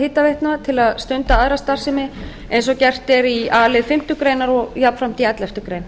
hitaveitna til að stunda aðra starfsemi eins og gert er í a lið fimmtu greinar og jafnframt í elleftu grein